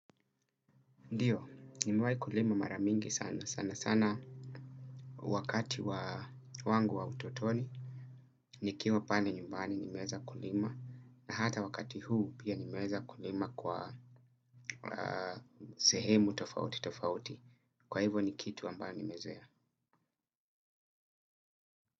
Ndio, nimewahi kulima mara mingi sana sanasana wakati wa wangu wa utotoni nikiwa pale nyumbani nimeweza kulima na hata wakati huu pia nimeweza kulima kwa sehemu tofauti tofauti kwa hivyo ni kitu ambayo nimezoea.